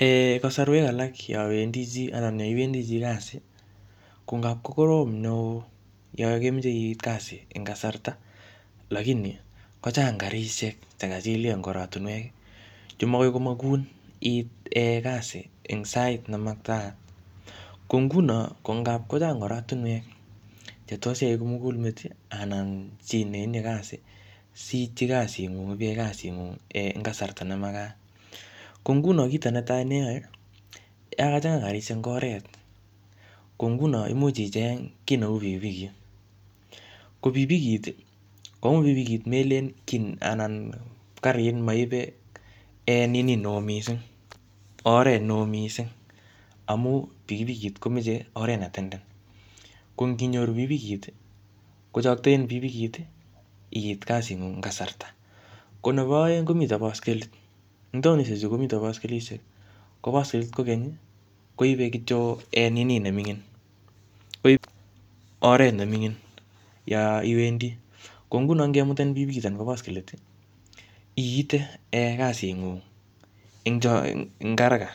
um Kasarwek alak yowendi chii, anan yeiwendi chi kasi, ko ngap ko korom neoo yo kemeche iit kasi eng kasarta, lakini kochang karishek che kachilkey eng oratunwek. Che magoi komagun iit um kasi, eng sait ne makataat. Ko nguno, ngap kochang oratunwek che tos iyai kimugulmet, anan chi ne itinye kasi, siitchi kasit ngung ipiyai kasit ngung eng kasarta ne makat. Ko nguno kito netai ne iyae, ya kachanga karishek eng oret, ko nguno imuch icheng' kiy neuu pikipikit. Ko pikipikit, komo pikipikit melen kiy anan karit, maibe nini neoo missing, oret neoo missing. Amu pikipikit komeche oret ne tenden. Ko nginyoru pikipikit, kochakten pikipikit iit kasit ngung eng kasarta. Ko nebo aeng, komite baiskelit. Tindoi betushek chu komite baskelishek. Ko baskelit kokeny, koibe kityo nini ne mingin, koip oret ne mingin yo iwendi. Ko nguno, ngemutenin pikipikit anan ko baskelit, iite um kasit ng'ung eng eng haraka.